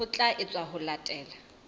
ho tla etswa ho latela